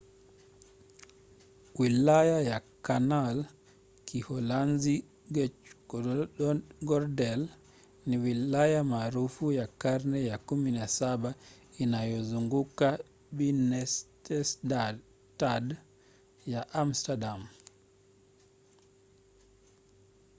wilaya ya canal kiholanzi: grachtengordel ni wilaya maarufu ya karne ya 17 inayozunguka binnenstad ya amsterdam